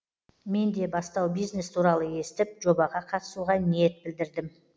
мен де бастау бизнес туралы естіп жобаға қатысуға ниет білдірдім